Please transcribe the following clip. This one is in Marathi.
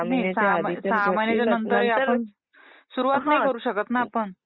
सहा महिन्याच्या ... नंतर सुरुवात नाही करू शकत ना आपण ?